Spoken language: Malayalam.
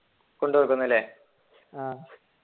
ആഹ്